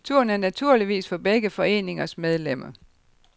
Turen er naturligvis for begge foreningers medlemmer.